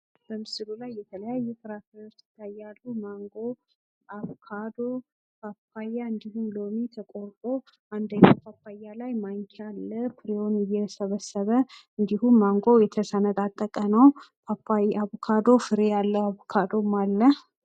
በምስሉ ላይ የተለያዩ ፍርፍሬዎች ይታያሉ። ማንጎ፣ አቮካዶ፣ ፓፓያ እንዲሁም ሎሚ ተቆርጦ አንደኛው ፓፓያ ላይ ማንኪያ አለ ፍሬውን እየሰበሰበ። እንዲሁም ማንጎው የተሰነጣጠቀ ነው። አቮካዶ ፍሬ ያለው አቮካዶም አለ።